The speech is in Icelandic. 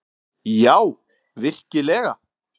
Já, virkilega.